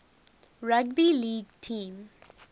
rugby league team